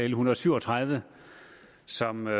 en hundrede og syv og tredive som er